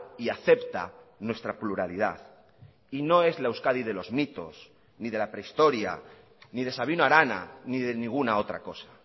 y acepta nuestra pluralidad y no es la euskadi de los mitos ni de la prehistoria ni de sabino arana ni de ninguna otra cosa